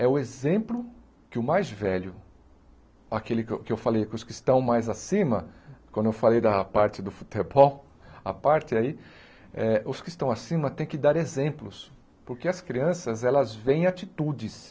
É o exemplo que o mais velho, aquele que eu que eu falei com os que estão mais acima, quando eu falei da parte do futebol, a parte aí, eh os que estão acima têm que dar exemplos, porque as crianças, elas vêem atitudes.